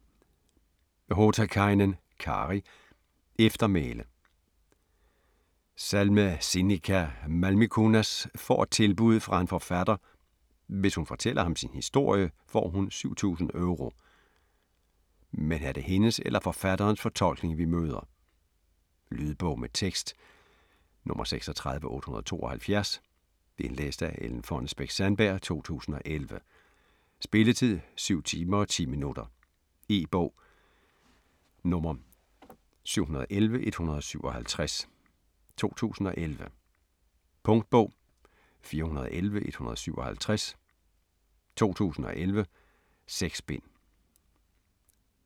Hotakainen, Kari: Eftermæle Salme Sinikka Malmikunnas får et tilbud fra en forfatter - hvis hun fortæller ham sin historie, får hun 7000 Euro. Men er det hendes eller forfatterens fortolkning vi møder? Lydbog med tekst 36872 Indlæst af Ellen Fonnesbech-Sandberg, 2011. Spilletid: 7 timer, 10 minutter. E-bog 711157 2011. Punktbog 411157 2011. 6 bind.